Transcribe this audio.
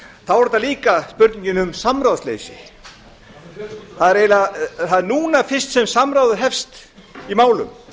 þá er þetta líka spurningin um samráðsleysi það er núna fyrst sem samráðið hefst í málum